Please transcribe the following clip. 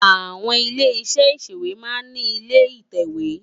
Awòn ilé iṣè iṣéwé má n ni ilé itèwé